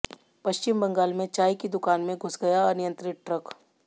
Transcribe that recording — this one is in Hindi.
पश्चिम बंगाल में चाय की दुकान में घुस गया अनियंत्रित ट्रक